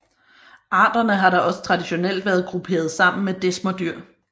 Arterne har da også traditionelt været grupperet sammen med desmerdyr